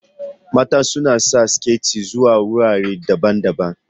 Mata suna sanya siket zuwa wurare daban-daban.